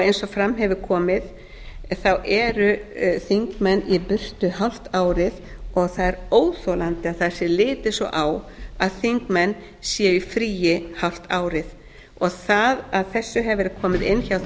eins og fram hefur komið eru þingmenn í burtu hálft árið og það er óþolandi að það sé litið svo á að þingmenn séu í fríi hálft árið það að þessu hefur verið komið inn hjá